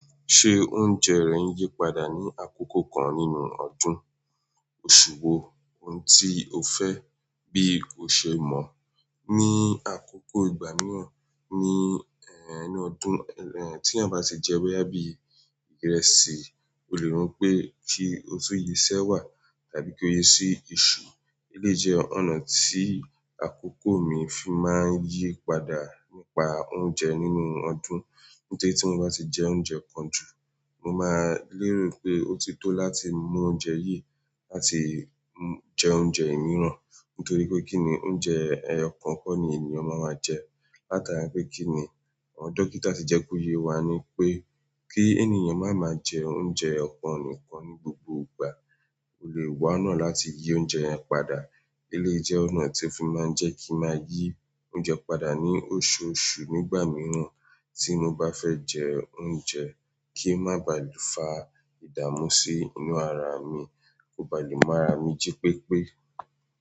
Ṣé oúnjẹ rẹ̀ ń yípadà ní àkókò kan nínú ọdún, oṣù wo, ohun tí o fẹ́ bí o ṣe mọ̀. Ni àkókò ìgbà mìíràn ní ẹnu ọdún ẹh tí ẹ̀yin bá ṣe jẹ boya bí i ìrẹsì, o lè rò pé kí ó tun yí i si ẹ́wà tàbí kí ó yi sí iṣu. Eleyi jẹ́ ọ̀nà tí àkókò mi fi máa ń yí padà nípa oúnjẹ nínú ọdún. Nítorí tí mo bá ti jẹ oúnjẹ kan jù, mo máa lérò pé ó ti tó láti mú oúnjẹ yìí láti jẹ oúnjẹ mìíràn. Nítorí pé kí ni oúnjẹ ẹẹkan kọ́ ni ènìyàn máa máa jẹ. Látara pé kí ni àwọn dókítà ti jẹ kóye wá ni pé kí ènìyàn máa máa jẹ oúnjẹ ọ̀kan nìkan ní gbogbo ìgbà. O lè wá ọ̀nà láti yí oúnjẹ yẹn padà. Eleyi jẹ́ ọ̀nà tí ó fi máa ń jẹ kí a máa yí oúnjẹ padà ní oṣooṣù nígbà mìíràn tí mo bá fẹ́ jẹ oúnjẹ kí ó má bà lè fa ìdààmú sí inú ara mi, kó bà lè mu ara mi jí pépé.